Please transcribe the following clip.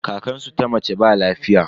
Kankansu ta mace ba lafiya.